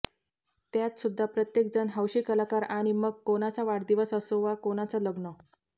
त्यातसुद्धा प्रत्येक जण हौशी कलाकार आणि मग कोणाचा वाढदिवस असो वा कोणाचं लग्न